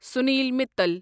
Sunil Mittal